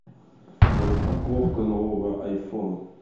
распаковка нового айфон